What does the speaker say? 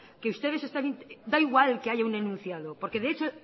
que ustedes están intentando da igual que haya un enunciado porque